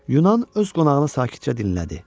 Yunan öz qonağını sakitcə dinlədi.